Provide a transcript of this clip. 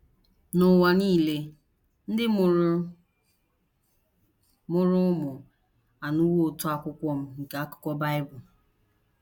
N’ụwa nile ndị mụrụ mụrụ ụmụ anụwo ụtọ Akwukwọm nke Akukọ Bible.